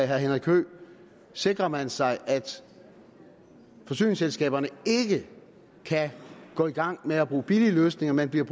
herre henrik høegh sikrer man sig at forsyningsselskaberne ikke kan gå i gang med at bruge billigere løsninger men bliver